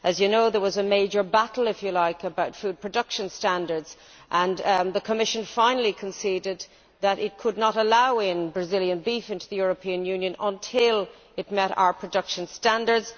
As you know, there was a major battle about food production standards, and the Commission finally conceded that it could not allow Brazilian beef into the European Union until it met our production standards.